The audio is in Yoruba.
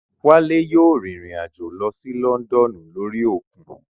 Wálé yóò rìn rìn àjò lọ sí Lọ́ndọ̀nù lórí òkun